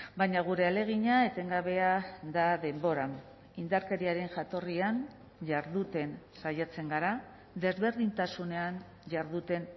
baina gure ahalegina etengabea da denboran indarkeriaren jatorrian jarduten saiatzen gara desberdintasunean jarduten